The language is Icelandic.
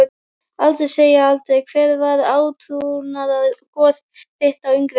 Aldrei segja aldrei Hver var átrúnaðargoð þitt á yngri árum?